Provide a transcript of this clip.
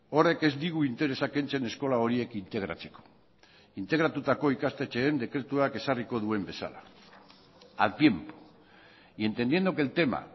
horrek ez digu interesa kentzen eskola horiek integratzeko integratutako ikastetxeen dekretuak ezarriko duen bezala al tiempo y entendiendo que el tema